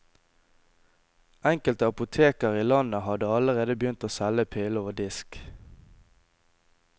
Enkelte apoteker i landet hadde allerede begynt å selge pillen over disk.